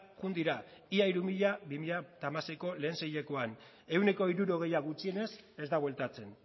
joan dira ia hiru mila bi mila hamasei lehen seihilekoan ehuneko hirurogeia gutxienez ez da bueltatzen